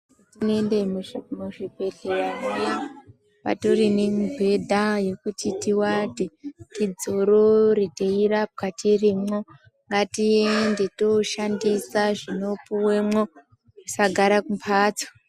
Tiende muzvi bhedhleya mwo mutori nemibhedha yekuti tiwate dzidzorore trirapwa tirimwo ngatiende toshandisa zvino puwemwo tisagara kumhatso.